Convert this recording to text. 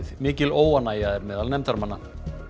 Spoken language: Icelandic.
mikil óánægja er meðal nefndarmanna